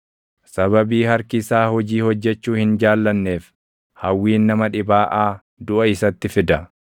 Sababii harki isaa hojii hojjechuu hin jaallanneef, hawwiin nama dhibaaʼaa duʼa isatti fida.